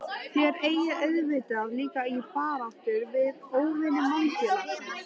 Þér eigið auðvitað líka í baráttu við óvini mannfélagsins?